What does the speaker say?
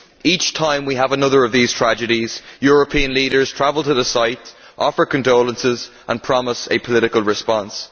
Each time we have another of these tragedies European leaders travel to the site, offer condolences and promise a political response.